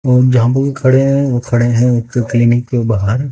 और जहां पर ये खड़े हैं वो खड़े हैं एक क्लीनिक के बाहर।